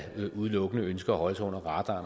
udelukkende ønsker at holde sig under radaren